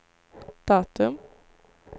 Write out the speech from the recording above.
datum